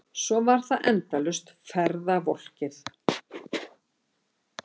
Svo var það endalaust ferðavolkið.